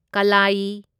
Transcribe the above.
ꯀꯜꯂꯥꯌꯤ